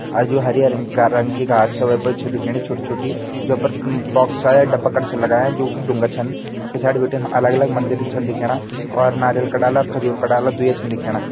अर जु हरी-हरी रिंग-रंग की घास च वै पर छ दिखेणी छोटी-छोटी जों पर अम-बॉक्स (Box) छा या डब्बा कर छन लगायां जों डूँगा छन और पिछाड़ी बटिन अलग-अलग मंदिर छन दिखेणा और नारियल का डाला और खजूर का डाला दूया छन दिखेणा।